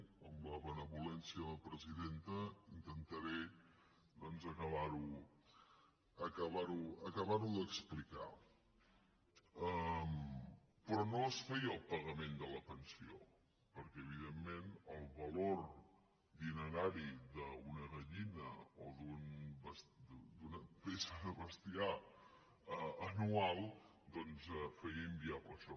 amb la benevolència de la presidenta intentaré doncs acabar ho d’explicar però no es feia el pagament de la pensió perquè evidentment el valor dinerari d’una gallina o d’una peça de bestiar anual feia inviable això